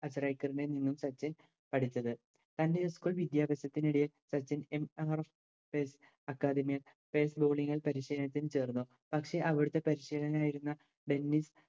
അച്ചരേക്കർ നിന്നും പറ്റി പഠിച്ചത് തൻറെ school വിദ്യാഭ്യാസത്തിനിടെ സച്ചിൻ academy പരിശീലനത്തിൽ ചേർന്നു പക്ഷെ അവിടുത്തെ പരിശീലകനായിരുന്ന ബെന്നിസ്